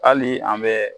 Hali an bɛ